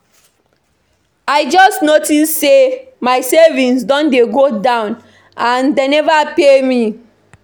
I just notice say my savings don dey go down and dey never pay us.